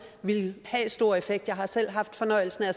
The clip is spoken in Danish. ville have stor effekt jeg har selv haft fornøjelsen af at